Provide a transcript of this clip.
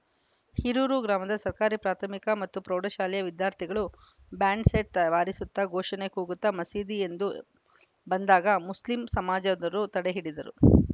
ಹಿರೂರು ಗ್ರಾಮದ ಸರ್ಕಾರಿ ಪ್ರಾಥಮಿಕ ಮತ್ತು ಪ್ರೌಢಶಾಲೆಯ ವಿದ್ಯಾರ್ಥಿಗಳು ಬ್ಯಾಂಡ್‌ ಸೆಟ್‌ ಆ ಬಾರಿಸುತ್ತಾ ಘೋಷಣೆ ಕೂಗುತ್ತಾ ಮಸೀದಿ ಎಂದು ಬಂದಾಗ ಮುಸ್ಲಿಂ ಸಮಾಜದರು ತಡೆಯೊಡ್ಡಿದರು